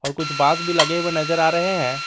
और कुछ बांस भी लगे हुए नजर आ रहे हैं।